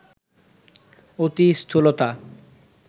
অতি স্থূলতা